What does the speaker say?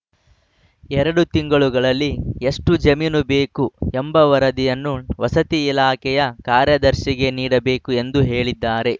ಎರಡು ತಿಂಗಳಲ್ಲಿ ಎಷ್ಟುಜಮೀನು ಬೇಕು ಎಂಬ ವರದಿಯನ್ನು ವಸತಿ ಇಲಾಖೆಯ ಕಾರ್ಯದರ್ಶಿಗೆ ನೀಡಬೇಕು ಎಂದು ಹೇಳಿದ್ದಾರೆ